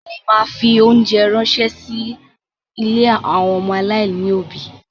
Mo ma fi óńjẹ ránṣẹ́ sí ilé àwọn ọmọ aláìní òbí.